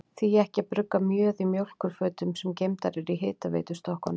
Því ekki að brugga mjöð í mjólkurfötum, sem geymdar eru í hitaveitustokkunum?